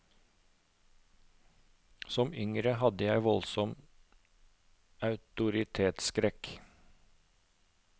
Som yngre hadde jeg voldsom autoritetsskrekk.